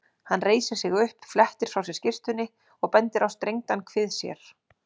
Hann reisir sig upp, flettir frá sér skyrtunni og bendir á strengdan kvið sér.